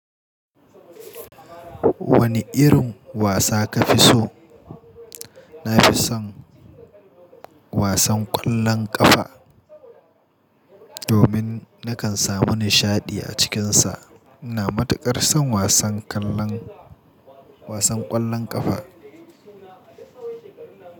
Wanne irin wasa ka fi so? Na fi son wasan ƙwallon ƙafa domin na kan samu nishaɗi a cikinsa. Ina matuƙar son wasan kallon, wasan ƙwallon ƙafa.